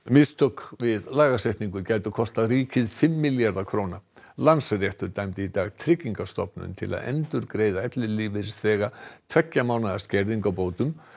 mistök við lagasetningu gætu kostað ríkið fimm milljarða króna Landsréttur dæmdi í dag Tryggingastofnun til að endurgreiða ellilífeyrisþega tveggja mánaða skerðingu á bótum